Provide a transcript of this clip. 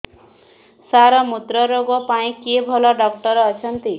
ସାର ମୁତ୍ରରୋଗ ପାଇଁ କିଏ ଭଲ ଡକ୍ଟର ଅଛନ୍ତି